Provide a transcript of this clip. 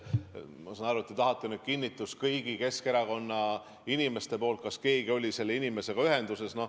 Ma saan aru, et te tahate kinnitust kõigi Keskerakonna inimeste poolt, kas keegi oli selle inimesega ühenduses.